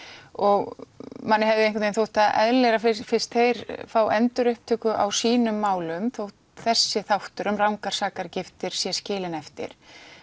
og manni hefði þótt það eðlilegra fyrst þeir fá endurupptöku á sínum málum þótt þessi þáttur um rangar sakargiftir sé skilinn eftir